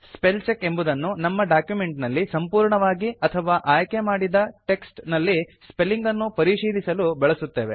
spell check ಎಂಬುದನ್ನು ನಮ್ಮ document ನಲ್ಲಿ ಸಂಪೂರ್ಣವಾಗಿ ಅಥವಾ ಆಯ್ಕೆ ಮಾಡಿದ ಟೆಕ್ಸ್ಟ್ ನಲ್ಲಿ ಸ್ಪೆಲಿಂಗ್ ಅನ್ನು ಪರಿಶೀಲಿಸಲು ಬಳಸುತ್ತೇವೆ